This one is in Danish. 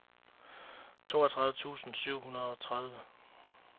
toogtredive tusind syv hundrede og tredive